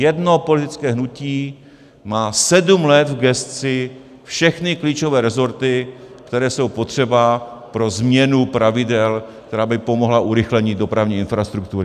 Jedno politické hnutí má sedm let v gesci všechny klíčové rezorty, které jsou potřeba pro změnu pravidel, která by pomohla urychlení dopravní infrastruktury.